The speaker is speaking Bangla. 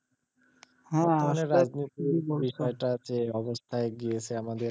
অবস্থায় গিয়েছে আমাদের,